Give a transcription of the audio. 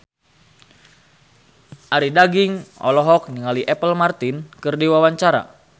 Arie Daginks olohok ningali Apple Martin keur diwawancara